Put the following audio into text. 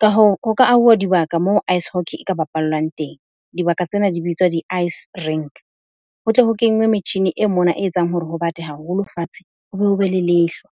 ka hoo ho ka auwa dibaka moo ice hockey e ka bapallwang teng. Dibaka tsena di bitswa di-ice rank. Ho tle ho kenngwe metjhini e mona e etsang hore ho bata haholo fatshe ho be ho be le lehlwa.